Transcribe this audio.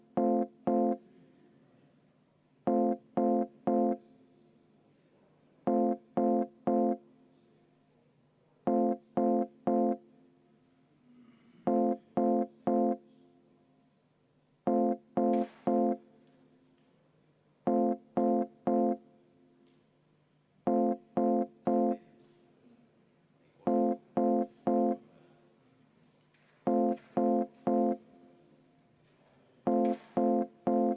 Järgmisena on kolmas muudatusettepanek, selle esitaja on majanduskomisjon ja juhtivkomisjon on seda arvestanud.